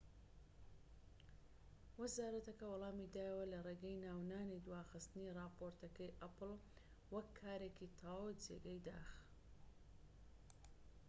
وەزارەتەکە وەڵامی دایەوە لە ڕێگەی ناونانی دواخستنی ڕاپۆرتەکەی ئەپڵ وەک کارێکی تەواو جێگەی داخ. ‎